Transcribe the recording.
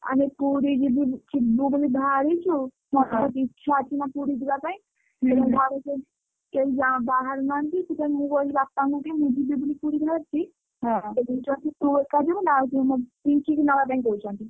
ଆମେ ପୁରୀ ଯିବୁ ଯିବୁ ବୋଲି ବାହାରିଛୁ ଇଚ୍ଛା ଅଛି ନା ପୁରୀ ଯିବା ପାଇଁ କେହି ଯା ବାହାରୁନାହାନ୍ତି ସେଥିପାଇଁ ମୁଁ କହିଲି ବାପାଙ୍କୁ ମୁଁ ଯିବି ବୋଲି ପୁରୀ ବାହାରିଛି। ତୁ ଏକା ଯିବୁ ନା ଆଉ କିଏ ପିଙ୍କିକୁ ନବା ପାଇଁ କହୁଛନ୍ତି।